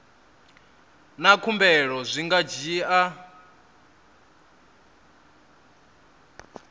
na khumbelo zwi nga dzhia